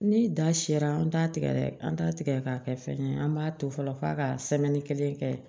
Ni da sera an t'a tigɛ dɛ an t'a tigɛ k'a kɛ fɛn ye an b'a to fɔlɔ f'a ka kelen kɛ